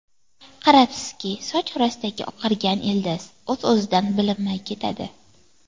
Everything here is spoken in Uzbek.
Qarabsizki, soch orasidagi oqargan ildiz o‘z-o‘zidan bilinmay ketadi.